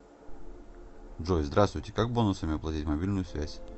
джой здраствуйте как бонусами оплатить мобильную связь